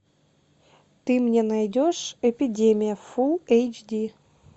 ты мне найдешь эпидемия фул эйч ди